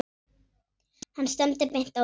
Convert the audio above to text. Hann stefndi beint á þá.